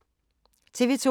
TV 2